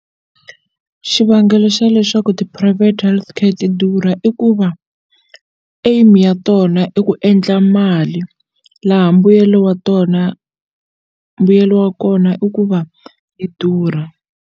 Xivangelo xa leswaku ti-private healthcare ti durha i ku va aim ya tona i ku endla mali laha mbuyelo wa tona mbuyelo wa kona i ku va yi durha.